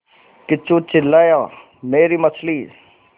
किच्चू चिल्लाया मेरी मछली